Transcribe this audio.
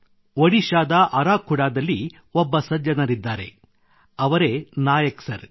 ಒಡಿಶಾದ ಅರಾಖುಡಾದಲ್ಲಿ ಒಬ್ಬ ಸಜ್ಜನರಿದ್ದಾರೆ ಅವರೇ ನಾಯಕ್ ಸರ್